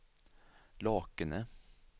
Lakene